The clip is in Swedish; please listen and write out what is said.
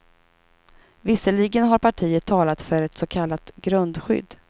Visserligen har partiet talat för ett så kallat grundskydd.